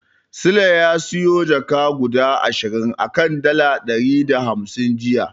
Sule ya siyo jaka guda ashirin a kan dala ɗari da hamsin jiya.